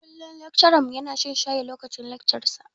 Kullum laccarar mu ya na shan shayi lokacin laccar sa